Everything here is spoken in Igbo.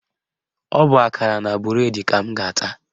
Ọ bụ akara na bụredi ka m ga-ata